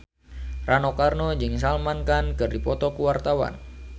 Rano Karno jeung Salman Khan keur dipoto ku wartawan